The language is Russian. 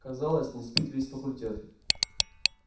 казалось не спит весь факультет